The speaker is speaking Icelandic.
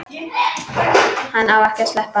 Hann á ekki að sleppa.